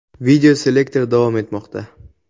Videoselektor davom etmoqda.